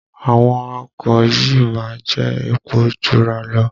Àwọn ọkọ̀ yìí má ń jẹ́ epo Jura lọ